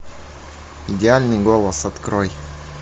идеальный голос открой